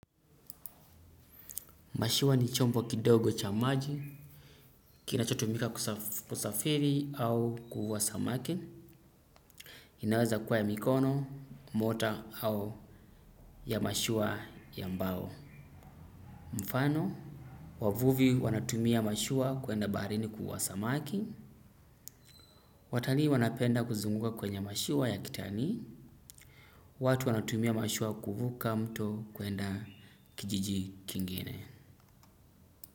Mashua ni chombo kidogo cha maji kinachotumika kusafiri au kuvua samaki, inaweza kua ya mikono motor au ya mashua ya mbao. Mfano, wavuvi wanatumia mashua kuenda baharini kuvua samaki, watalii wanapenda kuzunguka kwenye mashua ya kitani, watu wanatumia mashua kuvuka mto kuenda kijiji kingine.